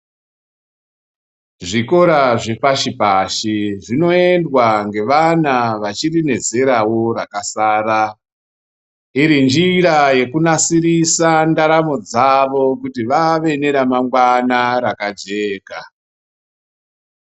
Zvikora zvepashi pashi, zvinoyendwa ngevana vachirinezerawo rakasara. Irinjira yekunasirisa ndaramo dzavo kuti vave neramangwana rakajeka.